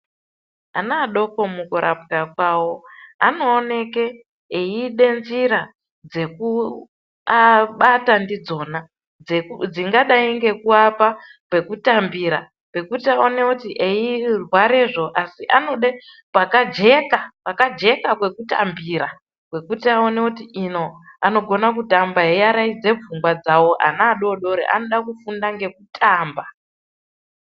Ana adoko mukurapwa kwawo anooneke eide njira dzekubata ndidzona dzingadai ngekuwapa pekutambira pekuti aone kuti eirware zvoo asi anode kwakajeka, kwakajeka kwekutambira kwekuti aone kuti ino anogone kutamba eiwaraidze pfungwa dzawo, ana adoodori anofunda ngekutamba.